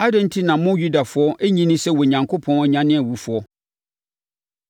Adɛn enti na mo Yudafoɔ nnye nni sɛ Onyankopɔn nyane awufoɔ?